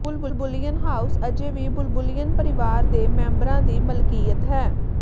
ਬੁਲਬੁਲਿਯਨ house ਅਜੇ ਵੀ Bulbulian ਪਰਿਵਾਰ ਦੇ ਮੈਂਬਰਾਂ ਦੀ ਮਲਕੀਅਤ ਹੈ